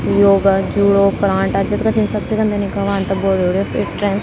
Yoga judo करांटा जत्गा छिन सब सिखंदिन यखा वां त बॉडी वोडी फिट रैंद।